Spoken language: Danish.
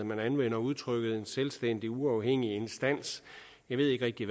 man anvender udtrykket en selvstændig uafhængig instans jeg ved ikke rigtig